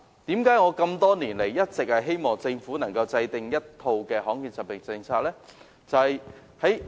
為何我多年來一直希望政府能夠制訂罕見疾病政策呢？